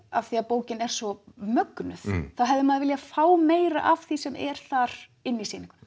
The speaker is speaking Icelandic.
af því að bókin er svo mögnuð þá hefði maður viljað fá meira af því sem er þar inn í sýninguna